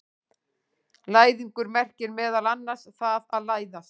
Læðingur merkir meðal annars það að læðast.